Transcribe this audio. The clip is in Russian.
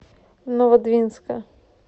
новодвинска